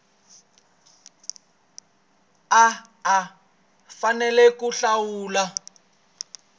a a fanele ku hlawula